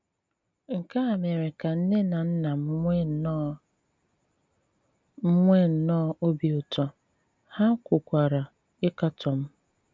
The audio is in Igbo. Nkè à mèrè kà nnè nà nnà m nwèè nnọọ m nwèè nnọọ òbì ùtù, hà kwùkwàrà ịkàtọ m.